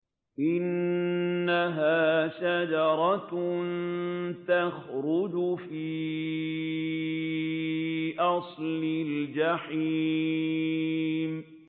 إِنَّهَا شَجَرَةٌ تَخْرُجُ فِي أَصْلِ الْجَحِيمِ